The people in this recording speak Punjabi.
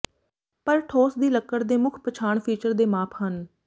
ਪਰ ਠੋਸ ਦੀ ਲੱਕੜ ਦੇ ਮੁੱਖ ਪਛਾਣ ਫੀਚਰ ਦੇ ਮਾਪ ਹਨ